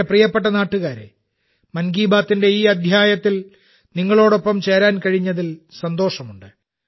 എന്റെ പ്രിയപ്പെട്ട നാട്ടുകാരേ 'മൻ കി ബാത്തിന്റെ' ഈ അദ്ധ്യായത്തിൽ നിങ്ങളോടൊപ്പം ചേരാൻ കഴിഞ്ഞതിൽ സന്തോഷമുണ്ട്